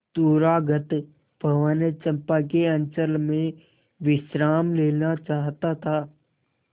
दूरागत पवन चंपा के अंचल में विश्राम लेना चाहता था